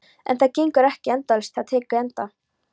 En það gengur ekki endalaust, það tekur enda.